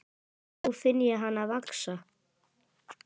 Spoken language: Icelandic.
Nú finn ég hana vaxa.